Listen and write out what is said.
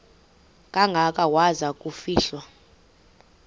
kangaka waza kufihlwa